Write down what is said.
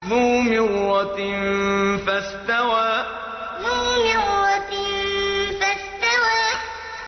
ذُو مِرَّةٍ فَاسْتَوَىٰ ذُو مِرَّةٍ فَاسْتَوَىٰ